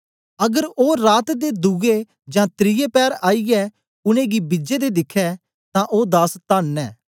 अगर ओ रात दे दुए जां त्रिये पैर आईयै उनेंगी बिजें दे दिखै तां ओ दास तन्न न